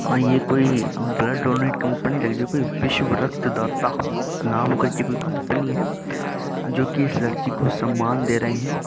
हा ये कोई ब्लड डोनेट कंपनी लग रही हैं। कोई विश्व रक्तदाता नाम कर के कोई कंपनी हैं जो की इस लड़की को सम्मान दे रहे हैं।